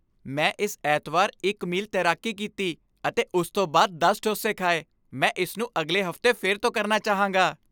ਮੈਂ ਇਸ ਐਤਵਾਰ ਇੱਕ ਮੀਲ ਤੈਰਾਕੀ ਕੀਤੀ ਅਤੇ ਉਸ ਤੋਂ ਬਾਅਦ ਦਸ ਡੋਸੇ ਖਾਏ ਮੈਂ ਇਸ ਨੂੰ ਅਗਲੇ ਹਫ਼ਤੇ ਫਿਰ ਤੋਂ ਕਰਨਾ ਚਾਹਾਂਗਾ